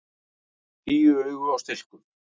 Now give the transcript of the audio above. Tíu augu á stilkum!